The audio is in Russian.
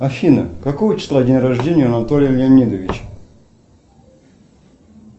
афина какого числа день рождения у анатолия леонидовича